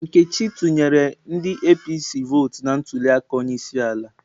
Nkechi tụnyere ndi APC votụ na ntuliaka onyeisiala.